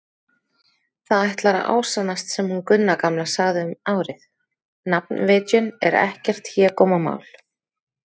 Það ætlar að ásannast sem hún Gunna gamla sagði um árið: nafnvitjun er ekkert hégómamál.